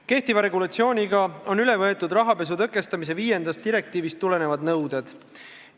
Kehtiva regulatsiooniga on üle võetud rahapesu tõkestamise viiendast direktiivist tulenevad nõuded.